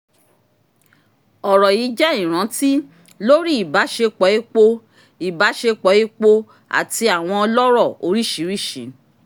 ọ̀rọ̀ yìí jẹ́ ìrántí lórí ìbáṣepọ̀ epo ìbáṣepọ̀ epo àti àwọn ọlọ́rọ̀ oríṣiríṣi.